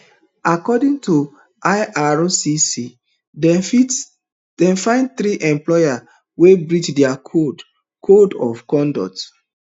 according to ircc dem find three employees wey breach dia code code of conduct